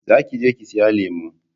Za ki je ki saya lemo